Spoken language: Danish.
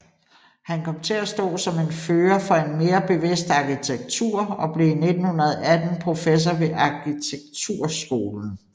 Han kom til at stå som en fører for en mere bevidst arkitektur og blev 1918 professor ved arkitekturskolen